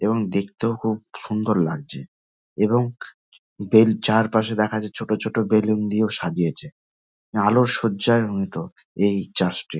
এবং দেখতেও খুব সুন্দর লাগছে এবং বেল চারপাশে দেখা যায় ছোট ছোট বেলুন দিয়েও সাজিয়েছে আলোর সজ্জায় রঞ্জিত এই চার্চ টি।